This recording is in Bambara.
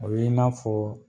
O ye n'a fɔ